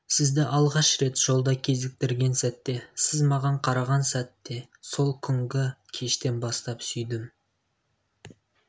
сізді алғаш рет жолда кезіктірген сәтте сіз маған қараған сәтте сол күнгі кештен бастап сүйдім